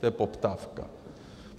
To je poptávka.